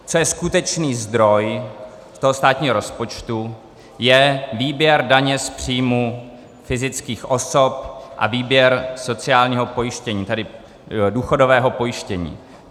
Co je skutečný zdroj toho státního rozpočtu, je výběr daně z příjmu fyzických osob a výběr sociálního pojištění, tedy důchodového pojištění.